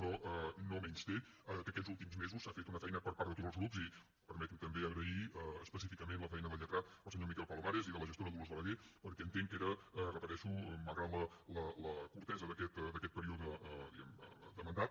però no menysté que aquests últims mesos s’ha fet una feina per part de tots els grups i permetin me també agrair específicament la feina del lletrat el senyor miquel palomares i de la gestora dolors balagué perquè entenc que era ho repeteixo malgrat la curtesa d’aquest període diguem ne de mandat